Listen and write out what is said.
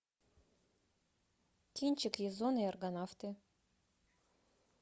кинчик язон и аргонавты